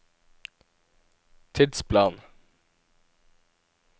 tidsplan